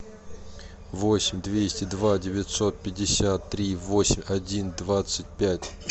восемь двести два девятьсот пятьдесят три восемь один двадцать пять